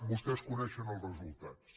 vostès coneixen els resultats